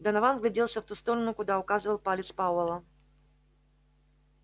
донован вгляделся в ту сторону куда указывал палец пауэлла